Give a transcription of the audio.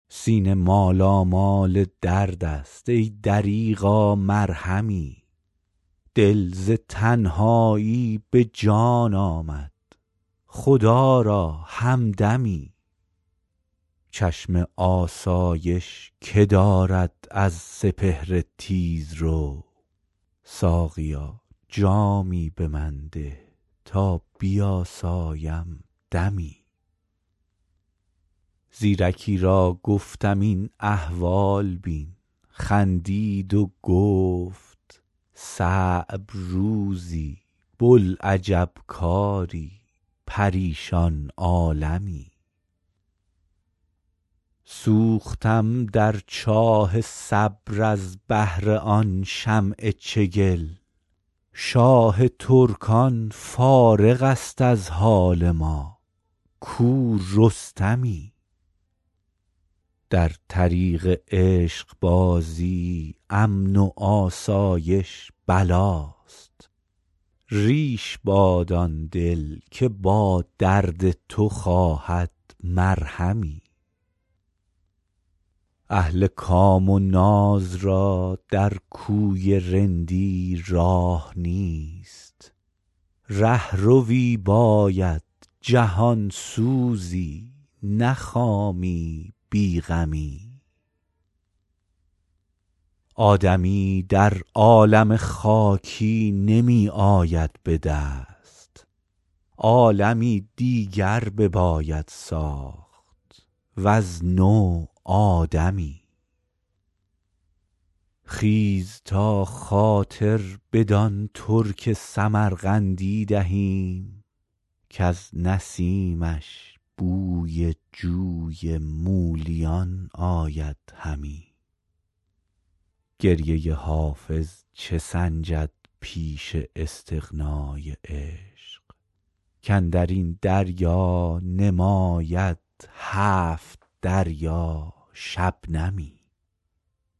سینه مالامال درد است ای دریغا مرهمی دل ز تنهایی به جان آمد خدا را همدمی چشم آسایش که دارد از سپهر تیزرو ساقیا جامی به من ده تا بیاسایم دمی زیرکی را گفتم این احوال بین خندید و گفت صعب روزی بوالعجب کاری پریشان عالمی سوختم در چاه صبر از بهر آن شمع چگل شاه ترکان فارغ است از حال ما کو رستمی در طریق عشق بازی امن و آسایش بلاست ریش باد آن دل که با درد تو خواهد مرهمی اهل کام و ناز را در کوی رندی راه نیست رهروی باید جهان سوزی نه خامی بی غمی آدمی در عالم خاکی نمی آید به دست عالمی دیگر بباید ساخت وز نو آدمی خیز تا خاطر بدان ترک سمرقندی دهیم کز نسیمش بوی جوی مولیان آید همی گریه حافظ چه سنجد پیش استغنای عشق کاندر این دریا نماید هفت دریا شبنمی